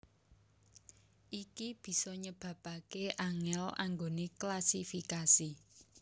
Iki bisa nyebabaké angèl anggoné klasifikasi